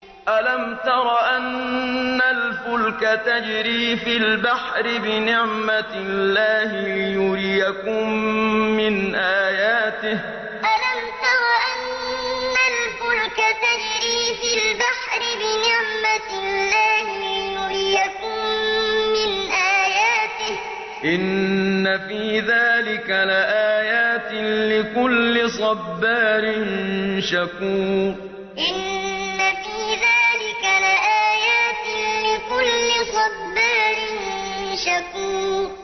أَلَمْ تَرَ أَنَّ الْفُلْكَ تَجْرِي فِي الْبَحْرِ بِنِعْمَتِ اللَّهِ لِيُرِيَكُم مِّنْ آيَاتِهِ ۚ إِنَّ فِي ذَٰلِكَ لَآيَاتٍ لِّكُلِّ صَبَّارٍ شَكُورٍ أَلَمْ تَرَ أَنَّ الْفُلْكَ تَجْرِي فِي الْبَحْرِ بِنِعْمَتِ اللَّهِ لِيُرِيَكُم مِّنْ آيَاتِهِ ۚ إِنَّ فِي ذَٰلِكَ لَآيَاتٍ لِّكُلِّ صَبَّارٍ شَكُورٍ